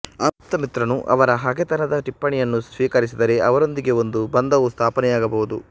ಆಪ್ತಮಿತ್ರನು ಅವರ ಹಗೆತನದ ಟಿಪ್ಪಣಿಯನ್ನು ಸ್ವೀಕರಿಸಿದರೆ ಅವರೊಂದಿಗೆ ಒಂದು ಬಂಧವು ಸ್ಥಾಪನೆಯಾಗಬಹುದು